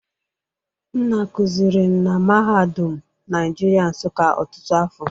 Nna kụziri na mahadum Naijirịa Nsụka ọtụtụ afọ.